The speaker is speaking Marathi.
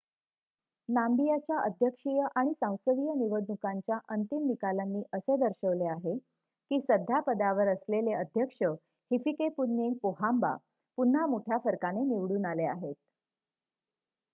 नाम्बियाच्या अध्यक्षीय आणि सांसदीय निवडणुकांच्या अंतिम निकालांनी असे दर्शवले आहे की सध्या पदावर असलेले अध्यक्ष हिफिकेपुन्ये पोहाम्बा पुन्हा मोठ्या फरकाने निवडून आले आहेत